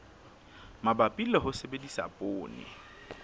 mabapi le ho sebedisa poone